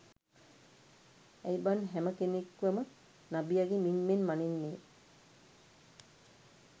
ඇයි බන් හැම කෙනෙක්වම නබියගේ මිම්මෙන් මනින්නේ?